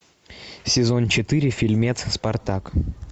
сезон четыре фильмец спартак